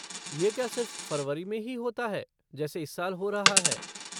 ये क्या सिर्फ़ फ़रवरी में ही होता है जैसे इस साल हो रहा है?